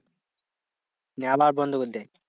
নিয়ে আবার বন্ধ করে দেয়।